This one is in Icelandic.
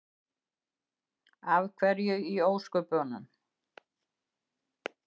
Af hverju í ósköpunum?